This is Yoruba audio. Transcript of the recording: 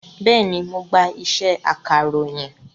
Bẹ́ẹ̀ni, mo gba iṣẹ́ akàròyìn